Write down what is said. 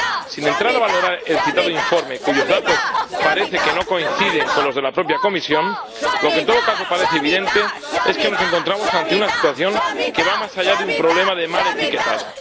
Sin entrar a valorar el citado informe, cuyos datos parece que no coinciden con los de la propia Comisión, lo que en todo caso parece evidente es que nos encontramos ante una situación que va más allá de un problema de mal etiquetado.